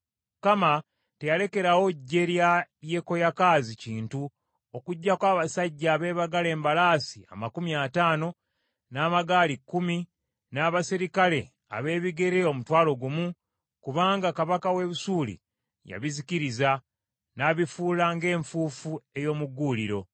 Mukama teyalekerawo ggye lya Yekoyakaazi kintu okuggyako abasajja abeebagala embalaasi amakumi ataano, n’amagaali kkumi, n’abaserikale ab’ebigere omutwalo gumu, kubanga kabaka w’e Busuuli yabizikiriza, n’abifuula ng’enfuufu ey’omu gguuliro.